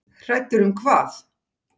Hræddur um hvað?